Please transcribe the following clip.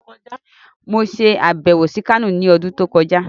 Mo ṣe àbẹ̀wò sí Kano ní ọdún tó kọjá.